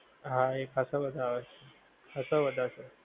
હા એ ખાંસા બધાં આવે છે. ખાંસા બધાં છે.